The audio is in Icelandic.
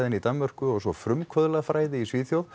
í Danmörku og svo frumkvöðlafræði í Svíþjóð